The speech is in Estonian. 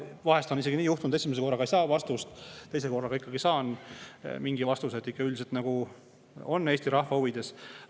Vahest on isegi nii juhtunud, et esimese korraga ei saa vastust, aga teisel korral saan mingi vastuse, et ikkagi üldiselt Eesti rahva huvides.